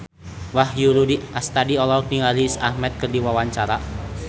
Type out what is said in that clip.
Wahyu Rudi Astadi olohok ningali Riz Ahmed keur diwawancara